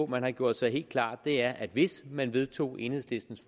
man har gjort sig helt klart er at hvis man vedtog enhedslistens